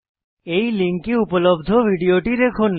এই লিঙ্কে উপলব্ধ ভিডিওটি দেখুন